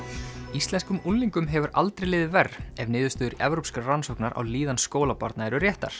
íslenskum unglingum hefur aldrei liðið verr ef niðurstöður evrópskrar rannsóknar á líðan skólabarna eru réttar